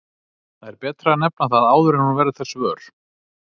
Það er betra að nefna það áður en hún verður þess vör.